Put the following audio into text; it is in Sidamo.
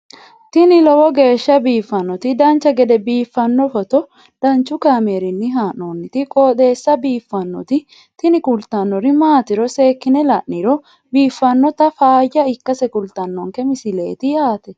tini lowo geeshsha biiffannoti dancha gede biiffanno footo danchu kaameerinni haa'noonniti qooxeessa biiffannoti tini kultannori maatiro seekkine la'niro biiffannota faayya ikkase kultannoke misileeti yaate